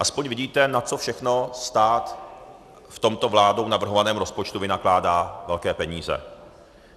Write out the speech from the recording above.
Alespoň vidíte, na co všechno stát v tomto vládou navrhovaném rozpočtu vynakládá velké peníze.